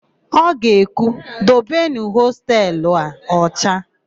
O ga-ekwu, "dobenụ hostelu a ọcha"!